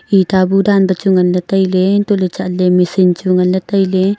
itta bu chu dan ngan tai ley antoh chat ley machine chu ngan ley tai ley.